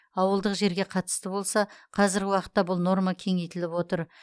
ауылдық жерге қатысты болса қазіргі уақытта бұл норма кеңейтіліп отыр